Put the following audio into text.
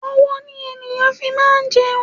Ọwọ́ ni ènìyàn fi máa ń jẹun.